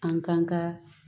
An k'an ka